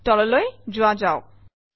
তললৈ যোৱা যাওক